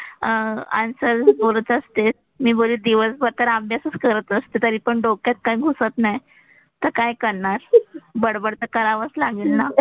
अह आन्सर बोलत असतेस. मी बोलले दिवस भर तर अभ्यासच करत असते तरी पण डोक्यात काही घुसत नाही, तर काय करणार. बडबड तर करावंच लागेल ना.